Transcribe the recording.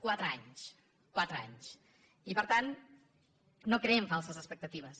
quatre anys quatre anys i per tant no creem falses expectatives